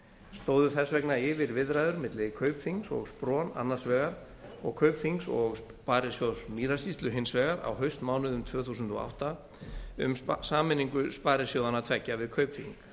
stóðu þess vegna yfir viðræður milli kaupþings og spron annarsvegar og kaupþings og sparisjóðs mýrasýslu hins vegar á haustmánuðum tvö þúsund og átta um sameiningu sparisjóðanna tveggja við kaupþing